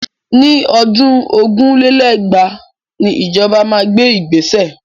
Ní ọdún ogún lé lẹ́gbàá ni ìjọba máa gbé ìgbéṣẹ̀